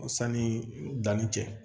Sanni danni cɛ